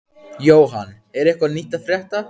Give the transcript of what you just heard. Jóhann, er eitthvað nýtt að frétta?